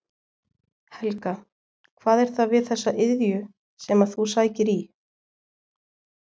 Helga: Hvað er það við þessa iðju sem að þú sækir í?